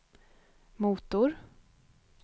motor